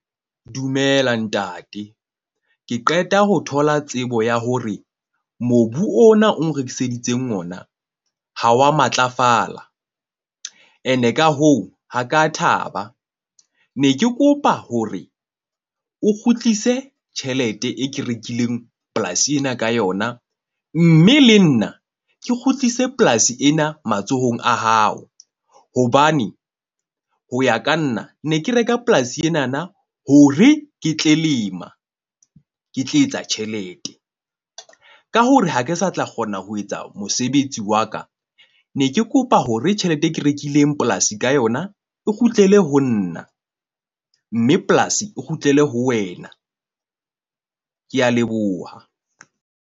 Dumela ntate. Ke qeta ho thola tsebo ya hore mobu ona o rekiseditseng ona, ha wa matlafala. Ene ka hoo, ha ka thaba ne ke kopa hore o kgutlise tjhelete e ke rekileng polasi ena ka yona. Mme le nna ke kgutlise polasi ena matsohong a hao. Hobane ho ya ka nna ne ke reka polasi enana hore ke tle lema, ke tle etsa tjhelete ka hore ha ke sa tla kgona ho etsa mosebetsi wa ka. Ne ke kopa hore tjhelete e ke rekileng polasi ka yona e kgutlele ho nna. Mme polasi e kgutlele ho wena. Ke a leboha.